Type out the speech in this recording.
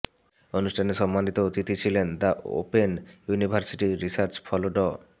অনুষ্ঠানে সম্মানিত অতিথি ছিলেন দি ওপেন ইউনিভার্সিটির রিসার্চ ফেলো ড